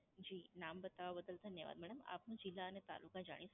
જી નામ બતાવવા બદલ ધન્યવાદ. મેડમ આપનો જિલ્લા અને તાલુકા જાણી શકું?